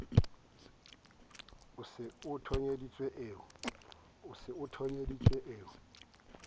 eo se e thonyeditsweng e